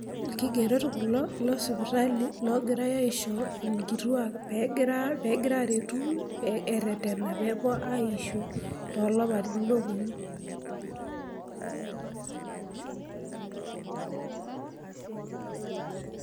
Ilkigerot kulo losipitali loogirai aisho enkituak pee gira aretu pee erretena pee puo aisho too lapaitin ooponu.